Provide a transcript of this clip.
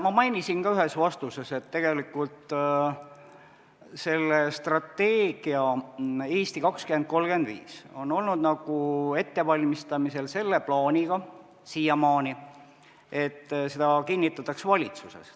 Ma mainisin ka ühes vastuses, et see strateegia "Eesti 2035" on olnud siiamaani ettevalmistamisel selle plaaniga, et see kinnitataks valitsuses.